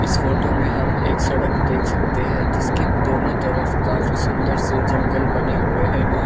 इस फोटो में हम एक सड़क देख सकते है जिसकी दोनों तरफ काफी सुंदर से जंगल बने हुए है।